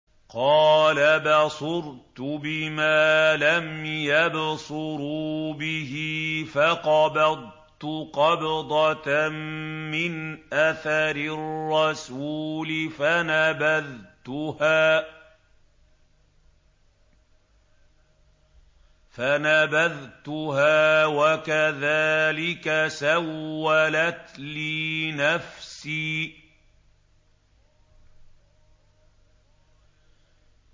قَالَ بَصُرْتُ بِمَا لَمْ يَبْصُرُوا بِهِ فَقَبَضْتُ قَبْضَةً مِّنْ أَثَرِ الرَّسُولِ فَنَبَذْتُهَا وَكَذَٰلِكَ سَوَّلَتْ لِي نَفْسِي